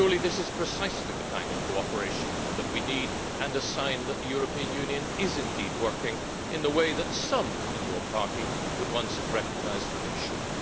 Surely this is precisely the kind of cooperation that we need and a sign that the European Union is indeed working in the way that some in your party would once have recognised that it should?